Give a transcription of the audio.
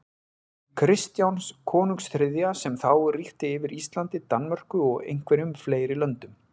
Kristjáns konungs þriðja, sem þá ríkti yfir Íslandi, Danmörku og einhverjum fleiri löndum.